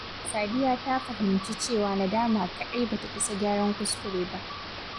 Sadiya ta fahimci cewa nadama kaɗai ba ta isa gyaran kuskure ba.